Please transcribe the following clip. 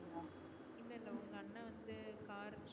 வந்து car